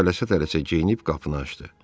O tələsə-tələsə geyinib qapını açdı.